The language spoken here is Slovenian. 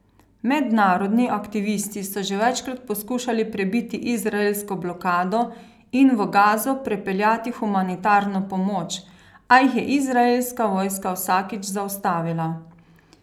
Mednarodni aktivisti so že večkrat poskušali prebiti izraelsko blokado in v Gazo prepeljati humanitarno pomoč, a jih je izraelska vojska vsakič zaustavila.